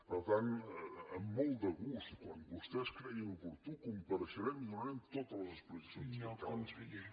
per tant amb molt de gust quan vostès creguin oportú compareixerem i donarem totes les explicacions que calgui